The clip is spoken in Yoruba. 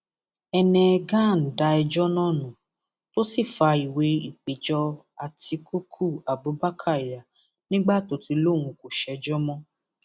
heneghan da ẹjọ náà nù tó sì fa ìwé ìpéjọ àtikukú abubakar yà nígbà tó ti lóun kò ṣèjọ mọ